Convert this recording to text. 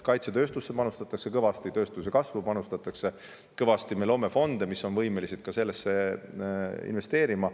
Kaitsetööstusessse panustatakse kõvasti ja tööstuse kasvu panustatakse kõvasti ning me loome fonde, mis on võimelised ka sellesse investeerima.